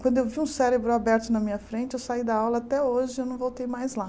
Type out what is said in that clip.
Quando eu vi um cérebro aberto na minha frente, eu saí da aula, até hoje eu não voltei mais lá.